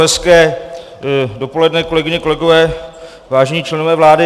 Hezké dopoledne, kolegyně, kolegové, vážení členové vlády.